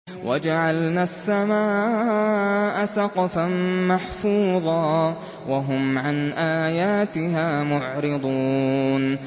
وَجَعَلْنَا السَّمَاءَ سَقْفًا مَّحْفُوظًا ۖ وَهُمْ عَنْ آيَاتِهَا مُعْرِضُونَ